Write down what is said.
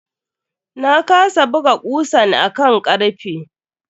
Na kasa buga kusan a kan karfe.